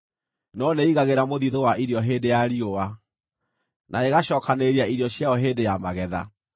no nĩĩigagĩra mũthiithũ wa irio hĩndĩ ya riũa, na ĩgacookanĩrĩria irio ciayo hĩndĩ ya magetha.